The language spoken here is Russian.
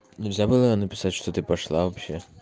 нельзя было написать что ты пошла вообще